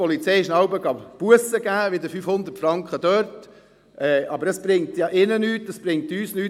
Die Polizei hat sie jeweils gebüsst – wieder 500 Franken –, aber das bringt ihnen ja nichts, das bringt uns nichts.